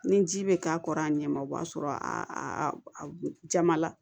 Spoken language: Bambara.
Ni ji bɛ k'a kɔrɔ a ɲɛ ma o b'a sɔrɔ a jama la